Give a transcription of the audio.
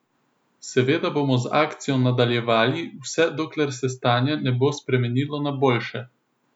Seveda bomo z akcijo nadaljevali vse dokler se stanje ne bo spremenilo na boljše.